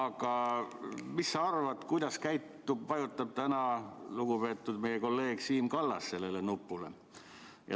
Aga mis sa arvad, kuidas käitub, mis nupule vajutab täna lugupeetud kolleeg Siim Kallas?